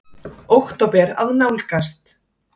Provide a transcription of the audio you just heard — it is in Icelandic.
Október að nálgast.